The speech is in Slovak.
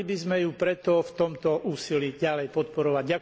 Mali by sme ju preto v tomto úsilí ďalej podporovať.